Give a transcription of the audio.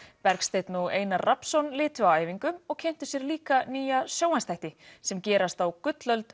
Bergsteinn og Einar Rafnsson litu á æfingu og kynntu sér líka nýja sjónvarpsþætti sem gerast á gullöld